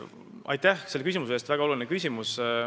Aitäh selle küsimuse eest, see on väga oluline küsimus!